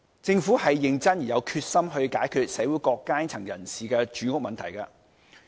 政府是認真而有決心去解決社會各階層人士的住屋問題的。